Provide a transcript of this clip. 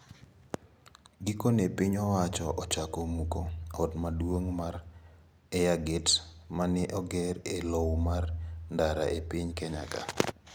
Gikone piny owacho ochako muko ot maduong` mar Airgate ma ne oger e lowo mar ndara e piny Kenya ka.